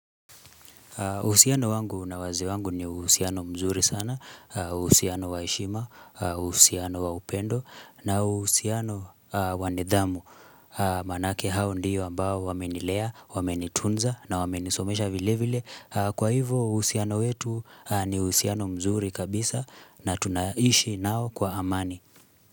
Uhusiano wangu na wazee wangu ni uhusiano mzuri sana, uhusiano wa heshima, uhusiano wa upendo, na uhusiano wa nidhamu. Maanake hao ndio ambao wamenilea, wamenitunza na wamenisomesha vile vile. Kwa hivo uhusiano wetu ni uhusiano mzuri kabisa na tunaishi nao kwa amani.